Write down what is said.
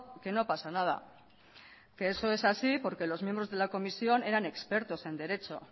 que no pasa nada que eso es así porque los miembros de la comisión eran expertos en derecho